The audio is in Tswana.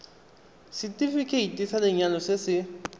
setefikeiti sa lenyalo se se